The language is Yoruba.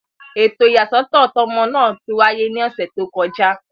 Eto iyasọtọ to ọmọ naa ti waye ni ọsẹ to kọja.